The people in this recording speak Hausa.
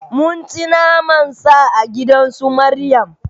Mun ci naman Sa a gidan su Maryam